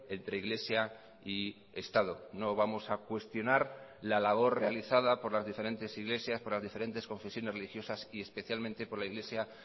entre iglesia y estado no vamos a cuestionar la labor realizada por las diferentes iglesias por las diferentes confesiones religiosas y especialmente por la iglesia